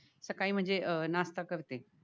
सकाळी म्हणजे अह नाष्टा करते